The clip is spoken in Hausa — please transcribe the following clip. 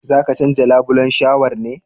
Zaka canja labulen shawar ne?\